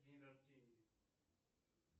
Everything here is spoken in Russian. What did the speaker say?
день рождения